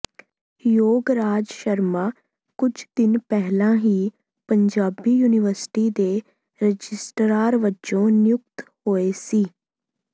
ਯੋਗ ਰਾਜ ਸ਼ਰਮਾ ਕੁੱਝ ਦਿਨ ਪਹਿਲਾਂ ਹੀ ਪੰਜਾਬੀ ਯੂਨੀਵਰਸਿਟੀ ਦੇ ਰਜਿਸਟਰਾਰ ਵਜੋਂ ਨਿਯੁਕਤ ਹੋਏ ਸੀ